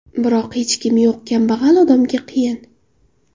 Biroq hech kimi yo‘q kambag‘al odamga qiyin.